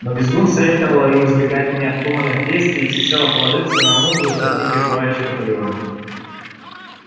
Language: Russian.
но визгун советовала им избегать необдуманных действий и всецело положиться на мудрую стратегию товарища наполеона